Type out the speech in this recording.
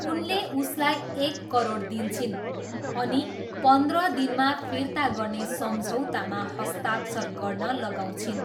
उनले उसलाई एक करोड दिन्छिन् अनि पन्ध्र दिनमा फिर्ता गर्ने सम्झौतामा हस्ताक्षर गर्न लगाउँछिन्।